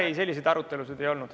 Ei, selliseid arutelusid ei olnud.